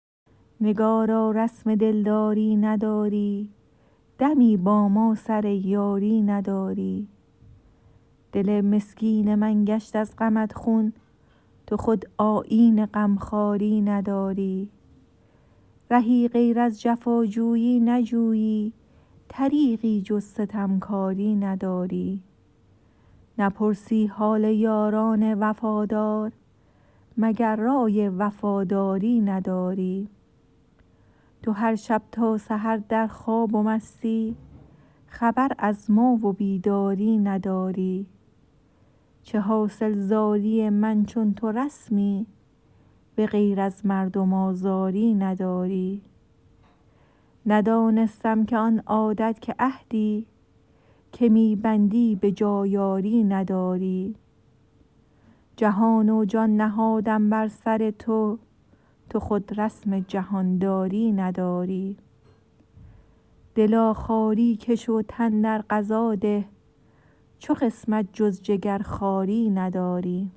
نگارا رسم دلداری نداری دمی با ما سر یاری نداری دل مسکین من گشت از غمت خون تو خود آیین غمخواری نداری رهی غیر از جفاجویی نجویی طریقی جز ستمکاری نداری نپرسی حال یاران وفادار مگر رای وفاداری نداری تو هر شب تا سحر در خواب و مستی خبر از ما و بیداری نداری چه حاصل زاری من چون تو رسمی به غیر از مردم آزاری نداری ندانستم که آن عادت که عهدی که می بندی به جای آری نداری جهان و جان نهادم بر سر تو تو خود رسم جهانداری نداری دلا خواری کش و تن در قضا ده چو قسمت جز جگرخواری نداری